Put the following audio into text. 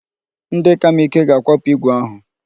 Ndị ka m ike ga-akwapụ igwe ahụ.